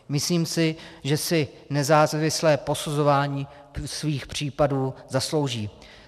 Myslím si, že si nezávislé posuzování svých případů zaslouží.